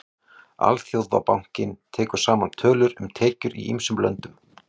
Alþjóðabankinn tekur saman tölur um tekjur í ýmsum löndum.